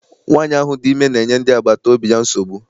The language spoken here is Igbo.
Nwaanyi ahụ dị ime na-enye ndị agbata obi ya nsogbu.